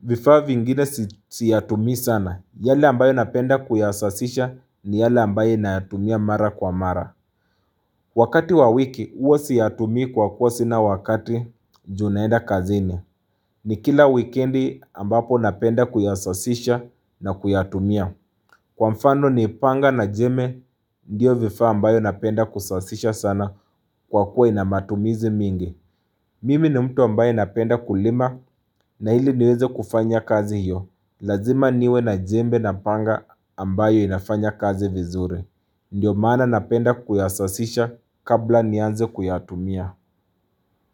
vifaa vingine siyatumii sana. Yale ambayo napenda kuyasasisha ni yale ambayo nayatumia mara kwa mara. Wakati wa wiki huwa siyatumii kwa kuwa sina wakati juu naenda kazini. Ni kila wikendi ambapo napenda kuyasasisha na kuyatumia. Kwa mfano ni panga na jembe, ndiyo vifaa ambayo napenda kusasisha sana kwa kuwa inamatumizi mingi. Mimi ni mtu ambaye napenda kulima na ili niweze kufanya kazi hiyo, lazima niwe na jembe na panga ambayo inafanya kazi vizuri. Ndio maana napenda kuyasasisha kabla nianze kuyatumia.